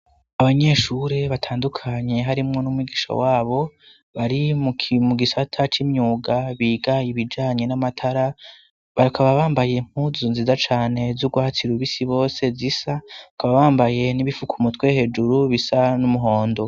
Abanyeshure batandukanye harimwo n'umugisha wabo, bari mu gisata c'imyuga biga ibijanye n'amatara, bakaba bambaye impuzu nziza cane z'urwatsi rubisi bose zisa, bakaba bambaye n'ibifuka umutwe hejuru bisa n'umuhondo.